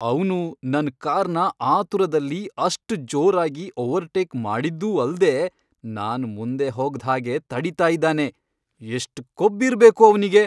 ಅವ್ನು ನನ್ ಕಾರ್ನ ಆತುರದಲ್ಲಿ ಅಷ್ಟ್ ಜೋರಾಗಿ ಓವರ್ಟೇಕ್ ಮಾಡಿದ್ದೂ ಅಲ್ದೇ ನಾನ್ ಮುಂದೆ ಹೋಗ್ದ್ಹಾಗೆ ತಡೀತಾ ಇದಾನೆ. ಎಷ್ಟ್ ಕೊಬ್ಬಿರ್ಬೇಕು ಅವ್ನಿಗೆ!